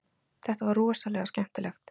Þetta var rosalega skemmtilegt